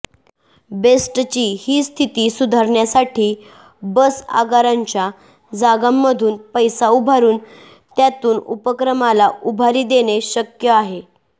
बेस्टची ही स्थिती सुधारण्यासाठी बस आगारांच्या जागांमधून पैसा उभारून त्यातून उपक्रमाला उभारी देणे शक्य आहे